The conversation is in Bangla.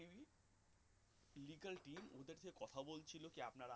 legal team কথা বলছিল যে আপনারা